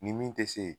Nin min tɛ se